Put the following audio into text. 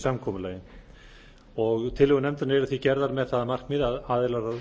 samkomulagi tillögur nefndarinnar eru því gerðar með það að markmiði að aðilar